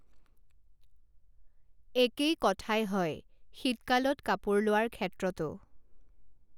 একেই কথাই হয় শীতকালত কাপোৰ লোৱাৰ ক্ষেত্ৰতো।